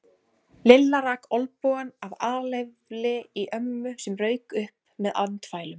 Lilla rak olnbogann af alefli í ömmu sem rauk upp með andfælum.